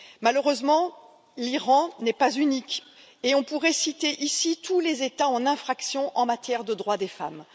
Malheureusement, l'Iran n'est pas unique et on pourrait citer ici tous les États en infraction en matière de droits des femmes.